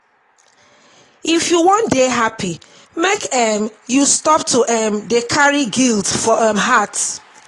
if you wan dey happy make um you stop to um dey carry guilt for um heart.